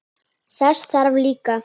Þess þarf líka.